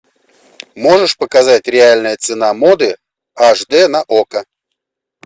можешь показать реальная цена моды аш д на окко